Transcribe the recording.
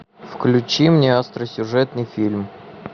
включи мне остросюжетный фильм